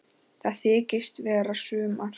Það þykist vera sumar.